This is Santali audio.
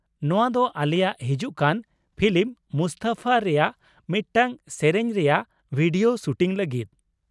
-ᱱᱚᱶᱟ ᱫᱚ ᱟᱞᱮᱭᱟᱜ ᱦᱤᱡᱩᱜ ᱠᱟᱱ ᱯᱷᱤᱞᱤᱢ 'ᱢᱩᱥᱛᱚᱯᱷᱟ' ᱨᱮᱭᱟᱜ ᱢᱤᱫᱴᱟᱝ ᱥᱮᱹᱨᱮᱹᱧ ᱨᱮᱭᱟᱜ ᱵᱷᱤᱰᱤᱭᱳ ᱥᱩᱴᱤᱝ ᱞᱟᱹᱜᱤᱫ?